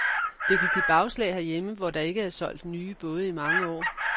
Det kan give bagslag herhjemme, hvor der ikke er solgt nye både i mange år.